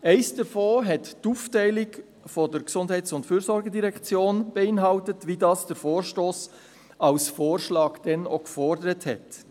Eines davon hat die Aufteilung der GEF beinhaltet, wie dies der Vorstoss als Vorschlag damals gefordert hat.